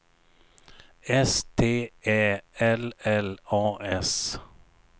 S T Ä L L A S